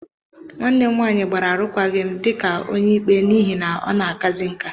Nwanne m nwanyị gbara arụkwaghịm dị ka Onyeikpe n'ihi na ọ na-akazị nká.